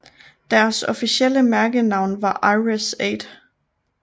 Deres officielle mærkenavn var IRIS 8